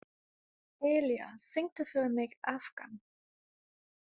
Elía, syngdu fyrir mig „Afgan“.